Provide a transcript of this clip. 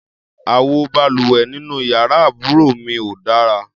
Àwo balùwẹ̀ nínú yàrá àbúrò mi ò dára.